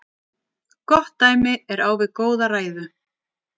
Gott dæmi er á við góða ræðu.